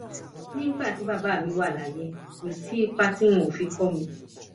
nígbà tí bàbá mi wà láyé kò sí ipa tí wọn ò fi kó mi